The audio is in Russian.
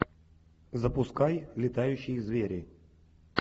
запускай летающие звери